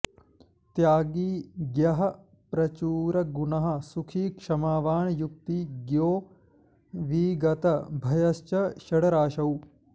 त्यागी ज्ञः प्रचुर गुणः सुखी क्षमावान् युक्ति ज्ञो विगत भयश्च षष्ठराशौ